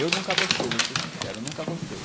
Eu nunca gostei, vou te ser sincero, eu nunca gostei.